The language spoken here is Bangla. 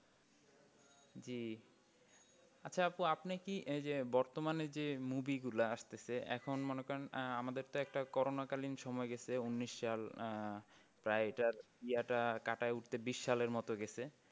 জি আচ্ছা আপু আপনি কি এই যে বর্তমানে যে movie গুলা আসতেছে এখন মনে করেন আমাদের একটা corona কালীন সময় গেছে উনিশ সাল আহ প্রায় এটার ইয়াটা কাটায় উঠতে বিষ সালের মতো গেছে।